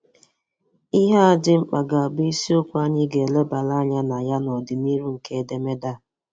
Ihe a dị mkpa ga-abụ isiokwu anyị ga-elebara anya na ya n’ọdịnihu nke edemede a.